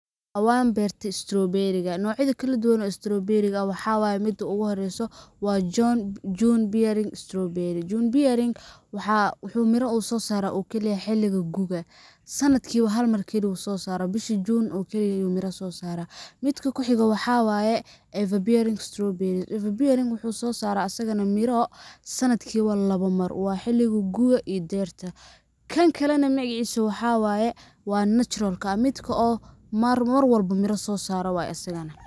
Waan beerte straw-berry ga ,noocyada kala duwan oo straw-berry ga waxa waye .Midda ugu horreyso waa June bearing straw-berry .June bearing waxa uu mira uu soo saraa oo kaliya xilliga gu'ga ,sanadkii ba hal mar oo kaliya ayuu soosaraa ,bisha June oo kaliya ayuu mira soo saraa . Midka ku xigo waxa waye Eva bearing straw-berry ,Eva bearing waxuu soo saraa asagana miro sanadkii ba lawa mar ,waa xilliga gu'ga iyo deyrta. Kan kale na magaciisa waxa waye waa natural ka ,waa midka oo mar walba mira soo saaro waye asagana.